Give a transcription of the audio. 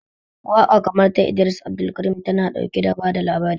Waƙa kamar ta Idris Abdulkarim, tana ɗauke da bada labari.